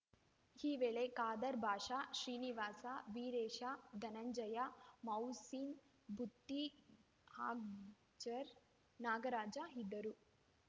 ಈ ವೇಳೆ ಖಾದರ್ ಭಾಷಾ ಶ್ರೀನಿವಾಸ ವೀರೇಶ ಧನಂಜಯ ಮೌಸಿನ್‌ ಬುತ್ತಿ ಅಗಜರ್ ನಾಗರಾಜ ಇದ್ದರು